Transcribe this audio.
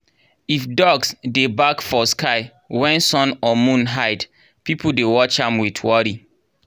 if dogs dey bark for sky when sun or moon hide people dey watch am with worry.